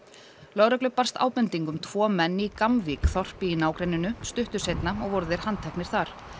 lögreglu barst ábending um tvo menn í þorpi í nágrenninu stuttu seinna og voru þeir handteknir þar